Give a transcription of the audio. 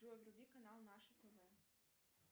джой вруби канал наше тв